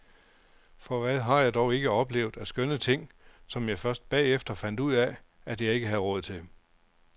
For hvad har jeg dog ikke oplevet af skønne ting, som jeg først bagefter fandt ud af, at jeg ikke havde råd til.